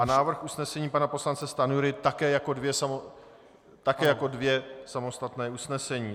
A návrh usnesení pana poslance Stanjury také jako dvě samostatná usnesení.